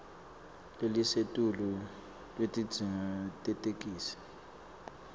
lelisetulu lwetidzingo tetheksthi